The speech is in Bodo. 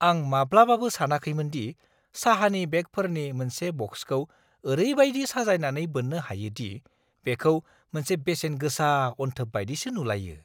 आं माब्लाबाबो सानाखैमोन दि साहानि बेगफोरनि मोनसे बक्सखौ ओरैबायदि साजायनानै बोननो हायो दि बेखौ मोनसे बेसेन गोसा अनथोब बायदिसो नुलायो!